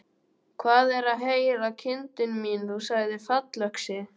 Hvað er að heyra, kindin mín, þú sagðir fallöxi.